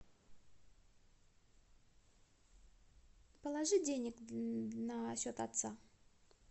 положи денег на счет отца